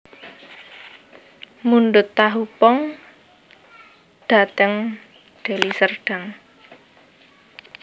Mundhut tahu pong dateng Deli Serdang